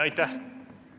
Aitäh!